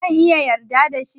Zan iya yarda da shi?